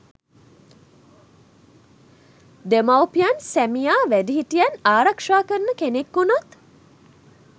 දෙමාපියන් සැමියා වැඩිහිටියන් ආරක්ෂා කරන කෙනෙක් වුනොත්